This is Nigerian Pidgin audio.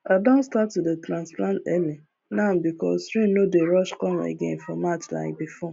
i don start to dey transplant early now because rain no dey rush come again for march like before